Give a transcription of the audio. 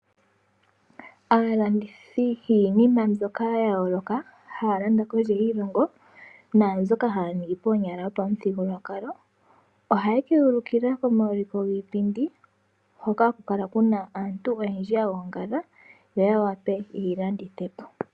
Aalandithi yiinima mbyoka ya yooloka haa landa kondje yiilongo naambyoka haa ningi koonyala yopamuthigululwakalo ohaye ke yi ulika komaulikilo giipindi hoka haku kala kuna aantu oyendji yagogangala, opo ya wape yiilandithepo.